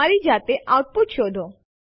ચાલો જોઈએ આ વિકલ્પો ક્યાં ઉપયોગી છે